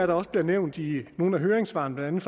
der også blev nævnt i nogle af høringssvarene blandt